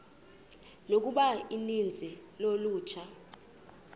yokuba uninzi lolutsha